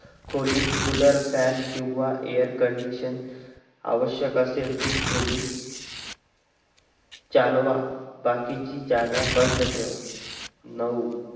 खोलीत cooler fan किंवा air conditioner आव्यश्यक असेल ती खोली चालवा बाकीची जागा बंद ठेवा नऊ